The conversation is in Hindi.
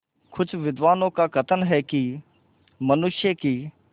कुछ विद्वानों का कथन है कि मनुष्य की